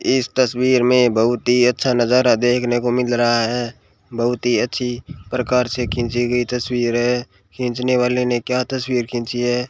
इस तस्वीर में बहुत ही अच्छा नजारा देखने को मिल रहा है बहुत ही अच्छी प्रकार से खींची गई तस्वीर है। खींचने वाले ने क्या तस्वीर खींची है?